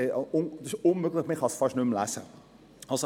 Das ist unmöglich, weil man es fast nicht mehr lesen kann.